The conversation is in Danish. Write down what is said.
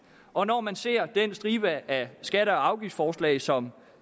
og når man ser den stribe af skatte og afgiftsforslag som